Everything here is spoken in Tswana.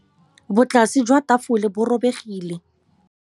Botlasê jwa tafole bo robegile.